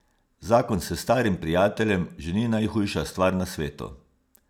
Zakon s starim prijateljem že ni najhujša stvar na svetu.